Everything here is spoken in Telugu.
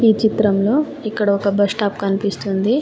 ఈ చిత్రంలో ఇక్కడ ఒక బస్టాప్ కనిపిస్తుంది.